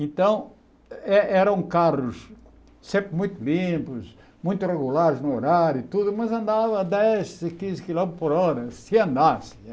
Então, eh eram carros sempre muito limpos, muito regulares no horário e tudo, mas andava a dez, quinze quilômetros por hora, se andasse